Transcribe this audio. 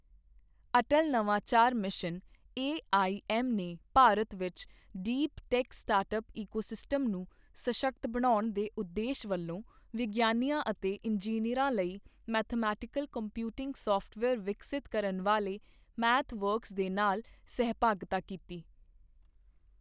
ਅਟਲ ਨਵਾਚਾਰ mission AIM ਨੇ ਭਾਰਤ ਵਿੱਚ ਡੀਪ ਟੇਕ ਸਟਾਰਟਅਪ ਇਕੋਸਿਸਟਮ ਨੂੰ ਸਸ਼ਕਤ ਬਣਾਉਣ ਦੇ ਉਦੇਸ਼ ਵਲੋਂ ਵਿਗਿਆਨੀਆਂ ਅਤੇ ਇੰਜੀਨੀਅਰਾਂ ਲਈ ਮੈਥਮੇਟਿਕਲ ਕੰਪਿਊਟਿੰਗ ਸਾਫਟਵੇਅਰ ਵਿਕਸਿਤ ਕਰਨ ਵਾਲੇ ਮੈਥਵਰਕਸ ਦੇ ਨਾਲ ਸਹਿਭਾਗਿਤਾ ਕੀਤੀ।